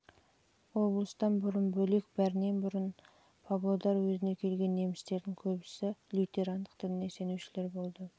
облыстан бөлек бәрінен бұрын павлодар уезіне келген немістердің көбісі лютерандық дініне сенушілер болды